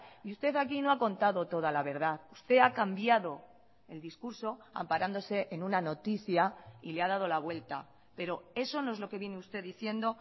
y usted aquí no ha contado toda la verdad usted ha cambiado el discurso amparándose en una noticia y le ha dado la vuelta pero eso no es lo que viene usted diciendo